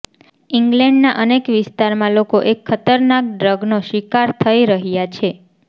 ઇંગ્લેન્ડના અનેક વિસ્તારમાં લોકો એક ખતરનાક ડ્રગનો શિકાર થઇ રહ્યા છે